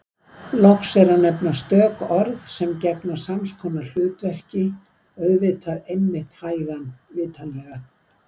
Loks er að nefna stök orð sem gegna sams konar hlutverki: auðvitað einmitt hægan vitanlega